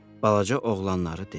Balaca oğlanları dedi.